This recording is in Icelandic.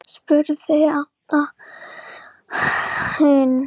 spurði Abba hin.